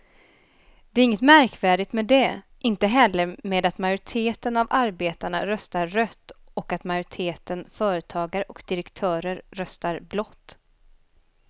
Det är inget märkvärdigt med det, inte heller med att majoriteten av arbetarna röstar rött och att majoriteten företagare och direktörer röstar blått.